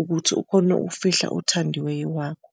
ukuthi ukhona ufihla othandiweyo wakho.